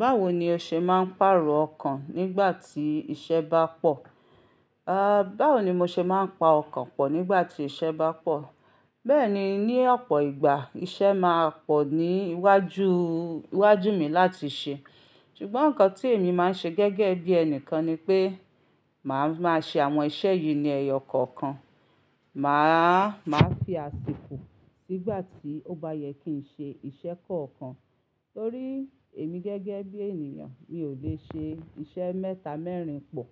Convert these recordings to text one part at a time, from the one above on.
Báwo ni o ṣe máa ń pàrọ̀ ọkàn nígbà tí iṣẹ́ bá pọ̀? Ah, báwo ni mo ṣe máa ń pa ọkàn pọ̀ nígbà tí iṣẹ́ bá pọ̀? Bẹ́ẹ̀ni, ní ọ̀pọ̀ ìgbà iṣẹ́ máa pọ̀ ní iwájú mi láti ṣe. Ṣùgbọ́n nǹkan tí èmi máa ń ṣe gẹ́gẹ́ bí ẹni kan ni pé màá máa ṣe àwọn iṣẹ́ yìí ní ẹyọ kankan. Màá, màá fi àsìkò sígbà tí ó bá yẹ kí n ṣe iṣẹ́ kọ̀ọ̀kan. Torí èmi gẹ́gẹ́ bí ènìyàn mi ò lè ṣe iṣẹ́ mẹ́ta, mẹ́rin pọ̀.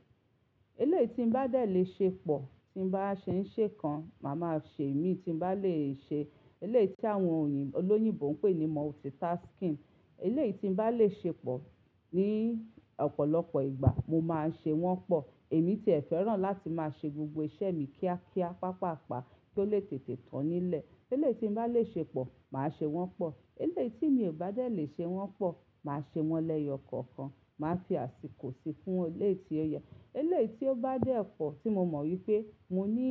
Eléyìí tí n bá dẹ̀ le ṣe pọ̀ tí n bá ṣe ń ṣe kan màá máa ṣe èmi tí n bá lè ṣe. Eléyìí tí àwọn olóyìnbo ń pè ní multitasking. Eléyìí tí n bá lè ṣe pọ̀ ní ọ̀pọ̀lọpọ̀ ìgbà mo máa ṣe wọ́n pọ̀. Èmi ti ẹ̀ fẹ́ràn láti máa ṣe gbogbo iṣẹ́ mi kíákíá, pàápàá, kí ó lè tètè tán nílẹ̀. Eléyìí tí n bá lè ṣe pọ̀ màá ṣe wọ́n pọ̀. Eléyìí tí mi ò bá dẹ̀ lè ṣe wọ́n pọ̀ màá ṣe wọ́n lẹ́yọ kankan. Màá fi àsìkò síi fún eléyìí tí ó yẹ. Eléyìí tí ó bá dé ọ̀ pọ̀ tí mo mọ̀ wípé mo ní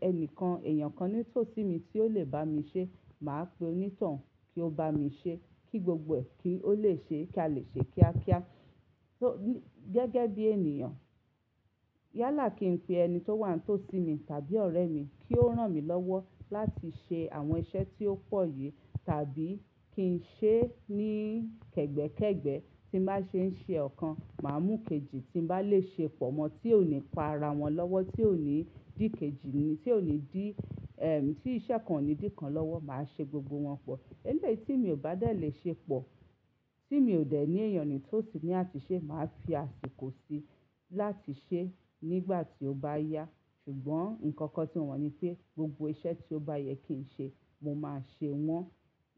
ẹni kan, ẹ̀yàn kan ní tó sí mi tí ó lè bá mi ṣe màá pe onítàn kí ó bá mi ṣe. Kí gbogbo ẹ kí ó lè ṣe kí a lè ṣe kíákíá. Torí gẹ́gẹ́ bí ènìyàn yálà kí n pe ẹni tí ó wà ní tó sí mi tàbí ọ̀rẹ́ mi kí ó rán mi lọ́wọ́ láti ṣe àwọn iṣẹ́ tí ó pọ̀ yìí tàbí kí n ṣe ní kẹ́gbẹ́kẹ́gbẹ́. Tí n bá ṣe ń ṣe ọ̀kan màá mú kejì tí n bá lè ṣe pọ̀ mọ́ tí ò ní pa ara wọn lọ́wọ́, tí ò ní dín kejì ni, tí ò ní dín, tí iṣẹ́ kan ò ní dín kan lọ́wọ́ màá ṣe gbogbo wọn pọ̀. Eléyìí tí mi ò bá dẹ̀ lè ṣe pọ̀ tí mi ò dẹ̀ ní èèyàn ní tó sí ní àtúnṣe màá fi àsìkò síi láti ṣe nígbà tí ó bá yá. Ṣùgbọ́n nǹkan kan tí mo mon ni pé gbogbo iṣẹ́ tí ó bá yẹ kí n ṣe mo máa ṣe wọ́n.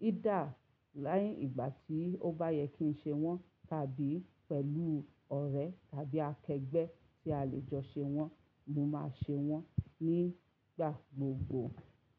Ídà ni ìgbà tí ó bá yẹ kí n ṣe wọ́n tàbí pẹ̀lú ọ̀rẹ́ tàbí akẹgbẹ́ tí a lè jọ ṣe wọ́n mo máa ṣe wọ́n nígbà gbogbo.